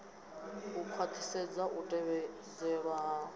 u khwaṱhisedza u tevhedzelwa ha